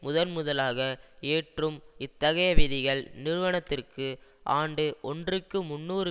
முதன்முதலாக ஏற்றும் இத்தகைய விதிகள் நிறுவனத்திற்கு ஆண்டு ஒன்றுக்கு முன்னூறு